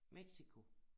Mexico